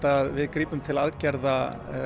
að við grípum til aðgerða